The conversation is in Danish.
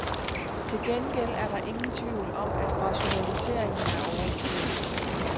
Til gengæld er der ingen tvivl om, at rationaliseringen er overstået.